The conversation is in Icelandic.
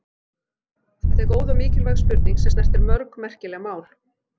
Þetta er góð og mikilvæg spurning sem snertir mörg merkileg mál.